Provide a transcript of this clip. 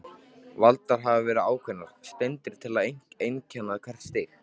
Valdar hafa verið ákveðnar steindir til að einkenna hvert stig.